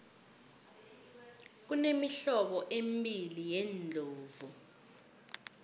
kunemihlobo embili yeendlovu